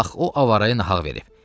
Bax o avaraya naq verib.